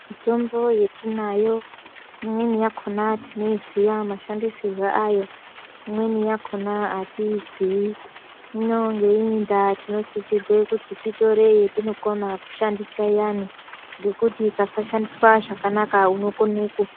Mitombo yatinayo imweni yakona tinoiziya mashandisirwo ayo. Imweni yakona atiiyiziyi hino ngeiyi ndaa tinosisirwe kuti titore yatinokona kushandisa iyani nekuti ikasashandiswa zvakanaka unokona kufa.